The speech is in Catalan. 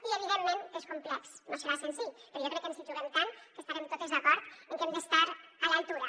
i evidentment que és complex no serà senzill però jo crec que ens hi juguem tant que estarem totes d’acord en que hem d’estar a l’altura